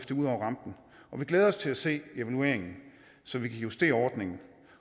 det ud over rampen og vi glæder os til at se evalueringen så vi kan justere ordningen